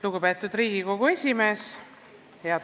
Lugupeetud Riigikogu esimees!